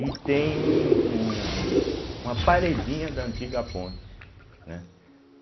E tem um um uma paredinha da antiga ponte, né?